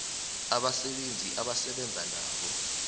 abasebenzi asebenza nabo